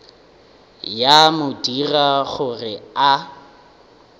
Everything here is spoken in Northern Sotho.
ya mo dira gore a